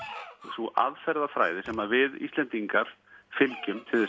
sú aðferðafræði sem við Íslendingar fylgjum